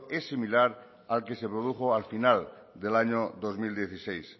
es similar al que se produjo al final del año dos mil dieciséis